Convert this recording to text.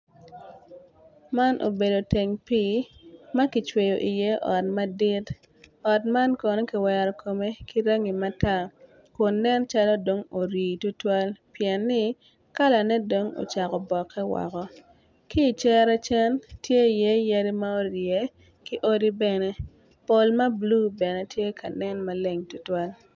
Man obedo teng pii ma kicweyo iye ot madit ot man kono kiwero kome ki rangi matar kun nen calo dong ori tutwal pien-ni kalane dong ocako boke woko ki icere cen tye iye yadi ma orye ki odi bene pol ma bulu bene tye ka nen maleng tutwal.